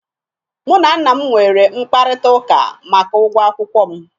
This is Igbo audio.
Mụ na nna m nwere mkparịtaụka maka ụgwọ akwụkwọ m